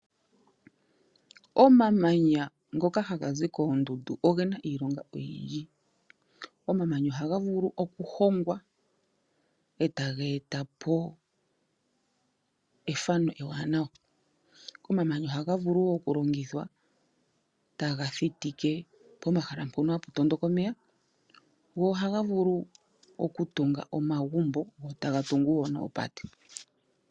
Omamanya ngoka ha gazi koondundu ogena iilonga oyindji. Omamanya ohaga vulu okuhongwa etaga etapo efano ewaanawa, omamanya ohaga vulu woo okulongithwa taga thitike pomahala mpoka hapu tondoka omeya, go ohaga vulu okutunga omagumbo go taga tungu woo noopate.